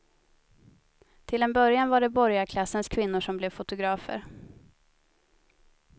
Till en början var det borgarklassens kvinnor som blev fotografer.